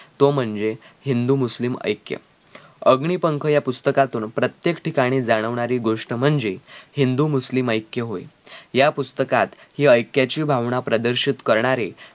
तो म्हणजे हिंदु मुस्लिम ऐक्य. अग्निपंख या पुस्तकातुन प्रत्येक ठिकाणी जाणवणारी गोष्ट म्हणजे हिंदु मुस्लिम ऐक्य होय या पुस्तकात हि ऐक्याची भावना प्रदर्शित करणारे